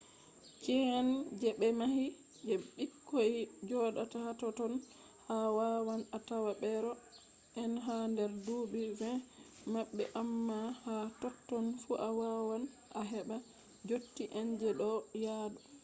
chi’eh je ɓe mahi je ɓikkoi joɗata hatotton a wawan a tawa beero en ha nder duuɓi 2o maɓɓe amma ha totton fu a wawan a heɓa dotti en je ɗo yaadu